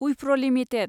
उइफ्र' limited